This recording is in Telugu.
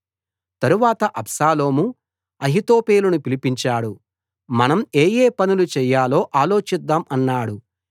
తరువాత అబ్షాలోము అహీతోపెలును పిలిపించాడు మనం ఏ ఏ పనులు చెయ్యాలో ఆలోచిద్దాం అన్నాడు